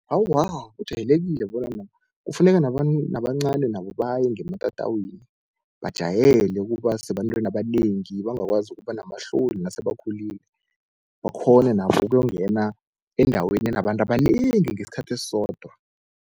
Awa, ujayelekile kufuneka nabancani nabo baye ngematatawini, bajayele ukuba sebantwini abanengi bangakwazi ukuba namahloni nasebakhulile, bakghone nabo ukuyokungena endaweni enabantu abanengi ngesikhathi esisodwa.